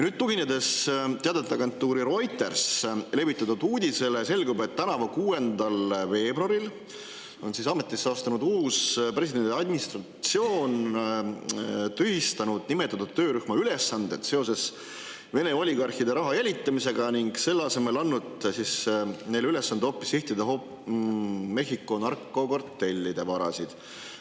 Teadeteagentuuri Reuters levitatud uudisest selgub, et tänavu 6. veebruaril ametisse astunud uus presidendi administratsioon on tühistanud nimetatud töörühma ülesanded seoses Vene oligarhide raha jälitamisega ning selle asemel on hoopis andnud neile ülesande sihtida Mehhiko narkokartellide varasid.